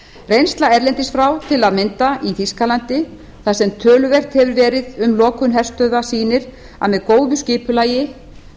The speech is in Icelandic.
reynsla erlendis frá til að mynda í þýskalandi þar sem töluvert hefur verið um lokun herstöðva sýnir að með góðu skipulagi